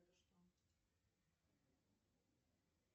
джой добрый день через онлайн банк я могу разблокировать карту